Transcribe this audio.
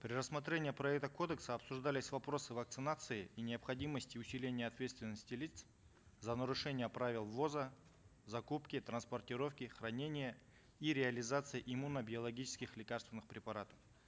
при рассмотрении проекта кодекса обсуждались вопросы вакцинации и необходимости усиления ответственности лиц за нарушение правил ввоза закупки транспортировки хранения и реализации иммуно биологических лекарственных препаратов